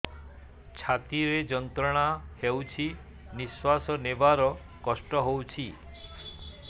ଛାତି ରେ ଯନ୍ତ୍ରଣା ହେଉଛି ନିଶ୍ଵାସ ନେବାର କଷ୍ଟ ହେଉଛି